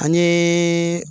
An ye